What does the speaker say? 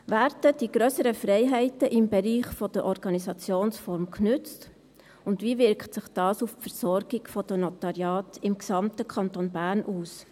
Werden die grösseren Freiheiten im Bereich der Organisationsform genutzt, und wie wirkt sich dies auf die Versorgung durch die Notariate im gesamten Kanton Bern aus?